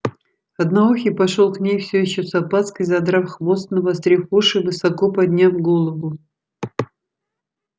одноухий пошёл к ней всё ещё с опаской задрав хвост навострив уши и высоко подняв голову